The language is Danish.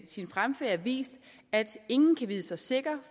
sin fremfærd vist at ingen kan vide sig sikker